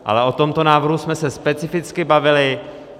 Ale o tomto návrhu jsme se specificky bavili.